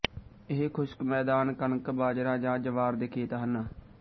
ਇਹ ਖ਼ੁਸ਼ਕ ਮੈਦਾਨ ਕਣਕ ਬਾਜਰਾ ਜਾਂ ਜਵਾਰ ਦੇ ਖੇਤ ਹਨ